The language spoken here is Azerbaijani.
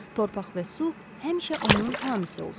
Torpaq və su həmişə onun hamisi olsun.